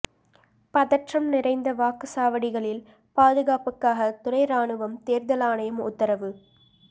பதற்றம் நிறைந்த வாக்குசாவடிகளில் பாதுகாப்புக்காக துணை ராணுவம் தேர்தல் ஆணையம் உத்தரவு